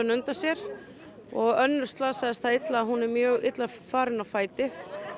undan sér og önnur slasaðist það illa að hún er mjög illa farin á fæti